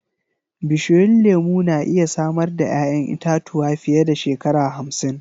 Bishiyun lemu na iya samar da 'ya'yan itatuwa fiye da shekara hamsin.